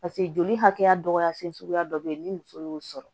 paseke joli hakɛya dɔgɔya fɛn sugu dɔ be yen ni muso y'o sɔrɔ